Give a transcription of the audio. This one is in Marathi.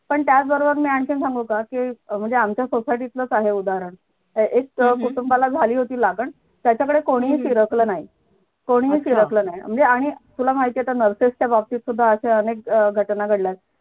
पण त्याचबरोबर मी आणखीन सांगू का की म्हणजे आमच्या sosociety तल सांगू उदाहरण एक अं कुटुंबाला झाली होती लागल त्यांच्याकडे कोणीही फिरकल नाही, कोणीही फिरकल नाही म्हणजे आणि तुला माहितीये तर nurses च्या बाबतीत तर अनेक घटना घडल्यात